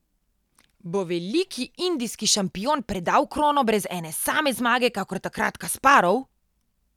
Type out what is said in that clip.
Bo veliki indijski šampion predal krono brez ene same zmage, kakor takrat Kasparov?